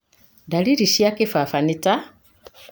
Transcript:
Dariri cia kĩbaba nĩ ta;